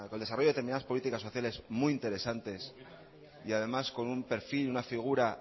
desarrollo de determinadas políticas sociales muy interesantes y además con un perfil una figura